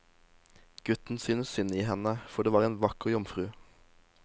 Gutten syntes synd i henne, for det var en vakker jomfru.